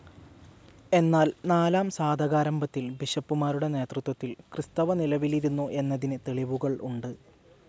എന്നാൽ നാലാം സാതകാരമ്പത്തിൽ ബിഷപ്പുമാരുടെ നേതൃത്വത്തിൽ ക്രിസ്ത്വവ നിലവിലിരുന്നു എന്നതിന് തെളിവുകൾ ഉണ്ട്.